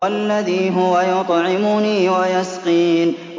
وَالَّذِي هُوَ يُطْعِمُنِي وَيَسْقِينِ